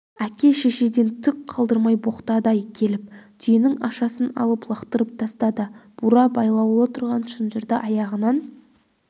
әке шешеден түк қалдырмай боқтады-ай келіп түйенің ашасын алып лақтырып тастады бура байлаулы тұрған шынжырды аяғынан